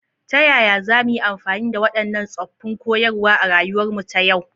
Ta yaya za mu yi amfani da waɗannan tsoffin koyarwa a rayuwarmu ta yau?